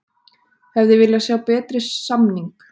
Hefði viljað sjá betri samning